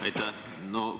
Aitäh!